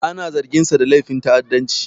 Ana zarginsa da laifin ta'addanci.